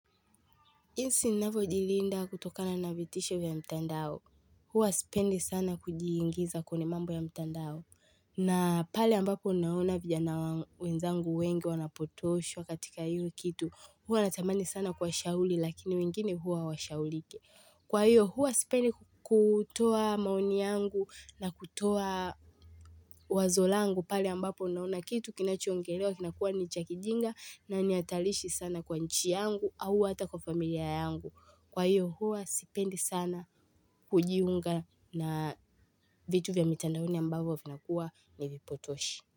Jinsi ninavyo jilinda kutokana na vitisho ya mtandao, huwa sipendi sana kujiingiza kwenye mambo ya mtandao na pale ambapo ninaona vijana wenzangu wengi wanapotoshwa katika hiyo kitu huwa natamani sana kuwa shauli lakini wengine huwa hawa shaulike. Kwa hiyo huwa sipendi kutoa maoni yangu na kutoa wazolangu pale ambapo ninaona kitu kinachoengelewa kinakuwa ni chakijinga na nihatarishi sana kwa nchi yangu au hata kwa familia yangu. Kwa hiyo huwa sipendi sana kujiunga na vitu vya mitandaoni ambavo vina kuwa ni vipotoshi.